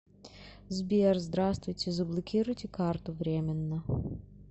сбер здраствуйте заблокируйте карту временно